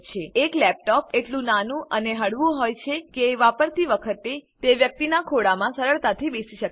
એક લેપટોપ એટલું નાનું અને હળવું હોય છે કે વાપરતી વખતે તે વ્યક્તિનાં ખોળામાં સરળતાથી બેસી શકે છે